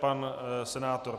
Pan senátor.